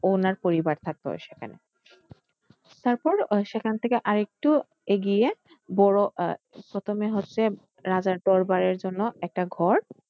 উনার পরিবার থাকতো সেখানে তারপর সেখান থেকে আরেকটু এগিয়ে বড় আহ প্রথমে হচ্ছে রাজার দরবারের জন্য একটা ঘর।